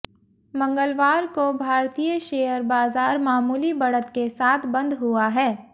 मंगलवार को भारतीय शेयर बाजार मामूली बढ़त के साथ बंद हुआ है